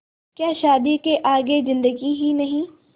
क्या शादी के आगे ज़िन्दगी ही नहीं